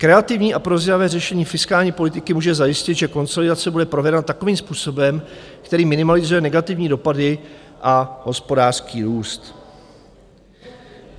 Kreativní a prozíravé řešení fiskální politiky může zajistit, že konsolidace bude provedena takovým způsobem, který minimalizuje negativní dopady a hospodářský růst.